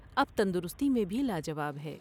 اب تندرستی میں بھی لاجواب ہے ۔